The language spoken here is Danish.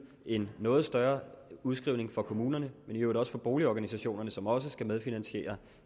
en noget større udskrivning for kommunerne men i øvrigt også for boligorganisationerne som også skal medfinansiere